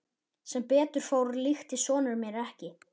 Sem betur fór líktist sonur minn mér ekki.